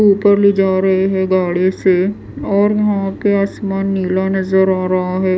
ऊपर ले जा रहे हैं गाड़ी से और वहाँ पे आसमान नीला नज़र आ रहा है।